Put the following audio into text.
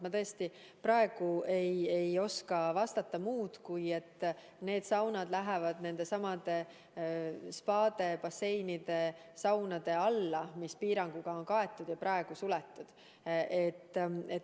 Ma tõesti praegu ei oska vastata muud, kui et need saunad lähevad nendesamade spaade, basseinide, saunade alla, mis piiranguga on kaetud ja praegu suletud.